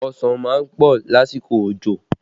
Ọsàn má ń pọ̀ lásìkò òjò